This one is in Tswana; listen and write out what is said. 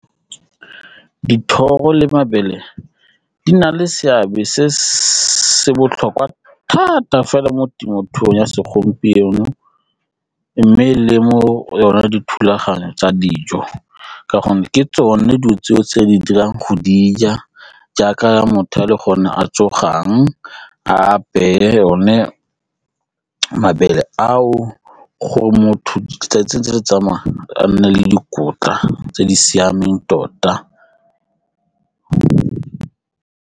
Dithoro le mabele di na le seabe se se botlhokwa thata fela mo temothuong ya segompieno mme le mo yona dithulaganyo tsa dijo ka gonne ke tsone dilo tseo tse di dirang go di ja jaaka motho ga a le gone a tsogang, a apeye one mabele ao gore motho a tsentse le tsamaya a nne le dikotla tse di siameng tota.